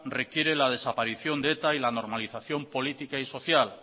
requiere la desaparición de eta y la normalización política y social